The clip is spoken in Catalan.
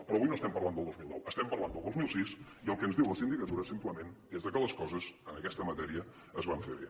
però avui no estem parlant del dos mil nou estem parlant del dos mil sis i el que ens diu la sindicatura simplement és que les coses en aquesta matèria es van fer bé